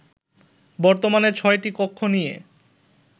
বর্তমানে ছয়টি কক্ষ নিয়ে